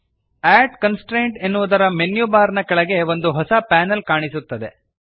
ಅಡ್ constraint ಎನ್ನುವುದರ menu bar ನ ಕೆಳಗೆ ಒಂದು ಹೊಸ ಪ್ಯಾನಲ್ ಕಾಣಿಸುತ್ತದೆ